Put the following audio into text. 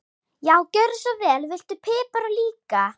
Já, gjörðu svo vel. Viltu pipar líka?